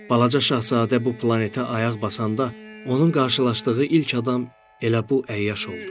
Balaca şahzadə bu planetə ayaq basanda, onun qarşılaşdığı ilk adam elə bu əyyaş oldu.